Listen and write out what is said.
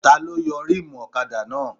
Taló yọ rímùù ọ̀kadà náà?